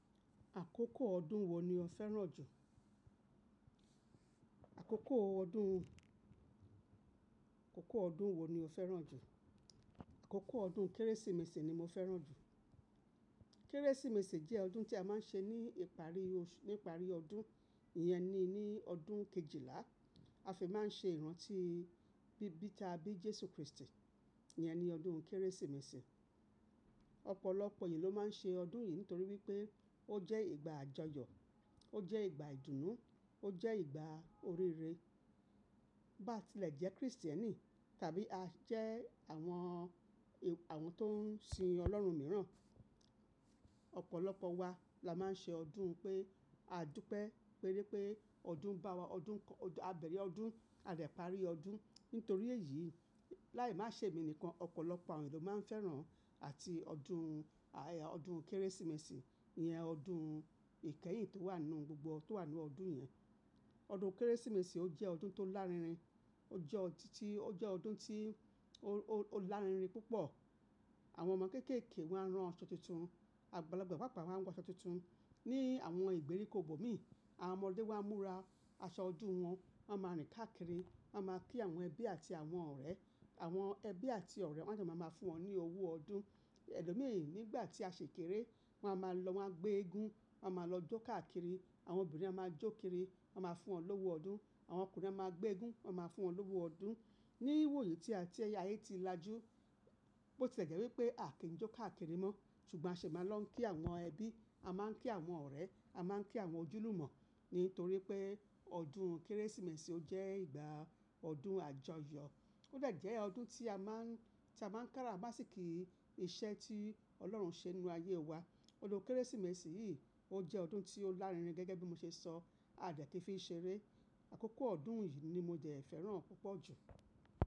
Àkókò ọdún wo ni o fẹ́ràn jù? Àkókò ọdún, àkókò ọdún wo ni o fẹ́ràn jù? Àkókò ọdún Kérésìmesì ni mo fẹ́ràn jù. Kérésìmesì jẹ́ ọdún tí a máa ń ṣe ní ìparí, ní ìparí ọdún, iyẹn ni ní ọdún Kejìlá. A fi máa ń ṣe ìrántí bíbí ta bí Jésù Kristi, iyẹn ni ọdún Kérésìmesì. Ọ̀pọ̀lọpọ̀ ènìyàn ló máa ń ṣe ọdún yìí nítorí wípé ó jẹ́ ìgbà àjọyọ̀, ó jẹ́ ìgbà ìdùnnú, ó jẹ́ ìgbà oríire. Bá ti lè jẹ́ Kristẹni tàbí a jẹ́ àwọn, àwọn tó ń sin Ọlọ́run mìíràn, ọ̀pọ̀lọpọ̀ wa la máa ń ṣe ọdún pé a dúpẹ́, pé wipé ọdún bá wa, ọdún kọ́, a bẹ̀rẹ̀ ọdún, a de parí ọdún. Nítorí èyí, láì má ṣe èmi nìkan, ọ̀pọ̀lọpọ̀ àwọn ènìyàn ló máa ń fẹ́ràn àti ọdún, ọdún Kérésìmesì, iyẹn ọdún ìkẹyìn tó wà nínú gbogbo tó wà nínú ọdún yẹn. Ọdún Kérésìmesì ó jẹ́ ọdún tó lárinrin, ó jẹ́ ọdún tí, ó jẹ́ ọdún tí ó lárinrin púpọ̀. Àwọn ọmọ kéékèèké wọ́n á rán aṣọ tuntun, àgbàlagbà papa, wọ́n á rán aṣọ tuntun. Ni àwọn ìgbèríko ibòmíì, àwọn ọmọdé wá ń múra aṣọ ọdún wọn, wọ́n máa rìn káàkiri, wọ́n máa kí àwọn ẹbí àti àwọn ọ̀rẹ́. Àwọn ẹbí àti ọ̀rẹ́ wọ́n máa jẹ, máa máa fún wọn ní owó ọdún. Ẹ̀lọ́ mìíràn nígbà tí a ṣi kéré, wọ́n á máa lọ, wọ́n á gbé eégún, wọ́n á máa lọ jó káàkiri. Àwọn obìnrin á máa jó kiri, wọ́n á máa fún wọn lówó ọdún. Àwọn ọkùnrin á máa gbé eégún, wọ́n á máa fún wọn lówó ọdún. Ní ìwòyí tí a ti, ayé ti lajú, bó tile jẹ́ wípé a kì ń jó káàkiri mọ́, ṣùgbọ́n a ṣi máa lọ ń kí àwọn ẹbí, a máa ń kí àwọn ọ̀rẹ́, a máa ń kí àwọn ojúlùmọ̀ nítorí pé ọdún Kérésìmesì ó jẹ́ ìgbà ọdún àjọyọ̀. Ó dejẹ́ ọdún tí a máa ń, tí a máa ń kára bá sì kí iṣẹ́ tí Ọlọ́run ṣe nínú ayé wa. Olú Kérésìmesì yìí ó jẹ́ ọdún tí ó lárinrin gẹ́gẹ́ bí mo ṣe sọ, a dẹ̀ kii fi ṣeré. Àkókò ọdún yìí ni mo jẹ̀ ẹ́ fẹ́ràn púpọ̀ jù.